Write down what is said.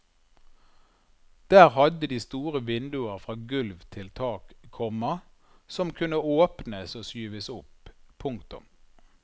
Der hadde de store vinduer fra gulv til tak, komma som kunne åpnes og skyves opp. punktum